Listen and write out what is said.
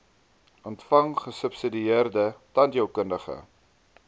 ontvang gesubsidieerde tandheelkundige